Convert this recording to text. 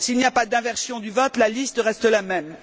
S'il n'y a pas d'inversion du vote, la liste reste la même.